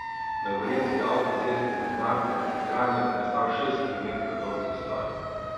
Na gorenjski avtocesti med Naklom in Kranjem je nastal šest kilometrov dolg zastoj.